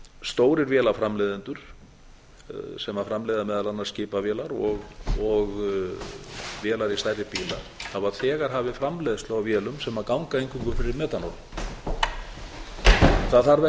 stórir vélaframleiðendur sem framleiða meðal annars skipavélar og vélar í stærri bíla hafa þegar hafið framleiðslu á vélum sem ganga eingöngu fyrir metanóli það þarf